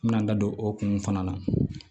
N bɛna n da don o kun fana na